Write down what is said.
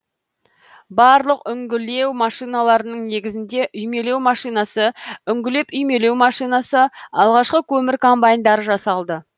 барлық үңгілеу машиналарының негізінде үймелеу машинасы үңгілеп үймелеу машинасы алғашқы көмір комбайндары жасалды